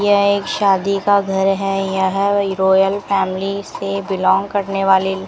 यह एक शादी का घर है यह वो रॉयल फैमिली से बिलॉन्ग करने वाले--